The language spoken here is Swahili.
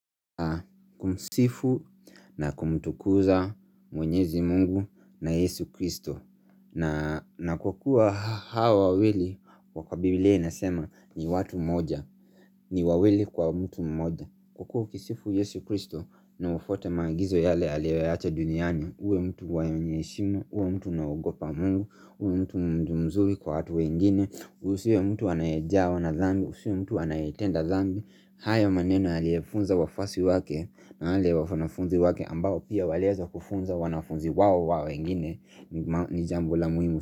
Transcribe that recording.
Kumsifu na kumtukuza mwenyezi mungu na Yesu Kristo na na kwa kuwa hawa wawili kwa bibilia inasema ni watu moja ni wawili kwa mtu moja Kwa kuwa ukisifu Yesu Kristo na ufwate maagizo yale aliyoyaacha duniani, uwe mtu wenye heshima, uwe mtu na ugopa mungu, uwe mtu mzuri kwa watu wengine Usiwe mtu anayejawa na dhambi, usiwe mtu anaye tenda dhambi hayo maneno aliyefunza wafwasi wake na wale wafanafunzi wake ambao pia waliweza kufunza wanafunzi wao wa wengine ni jambo la muhimu.